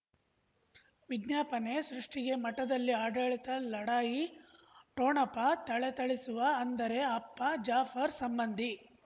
ವಿಜ್ಞಾಪನೆ ಸೃಷ್ಟಿಗೆ ಮಠದಲ್ಲಿ ಆಡಳಿತ ಲಢಾಯಿ ಠೊಣಪ ಥಳಥಳಿಸುವ ಅಂದರೆ ಅಪ್ಪ ಜಾಫರ್ ಸಂಬಂಧಿ